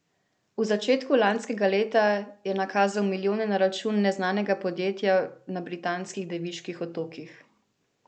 V začetku lanskega leta je nakazal milijone na račun neznanega podjetja na Britanskih Deviških otokih.